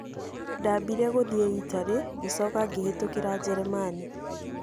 Ndaambire gũthiĩ Itari, ngĩcoka ngĩhĩtũkĩra Njĩrĩmani.